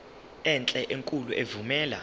enhle enkulu evumela